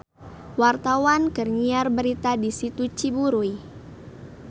Wartawan keur nyiar berita di Situ Ciburuy